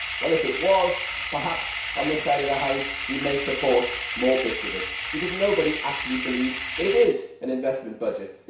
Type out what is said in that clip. If it was, perhaps on this side of the House we might support more bits of it, because nobody actually believes that it is an investment budget.